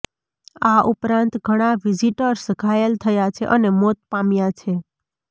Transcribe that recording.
આ ઉપરાંત ઘણા વિઝિટર્સ ઘાયલ થયા છે અને મોત પામ્યા છે